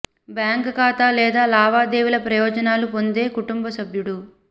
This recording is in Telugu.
బ్యాంక్ ఖాతా లేదా లావాదేవీల ప్రయోజనాలు పొందే కుటుంబ సభ్యుడు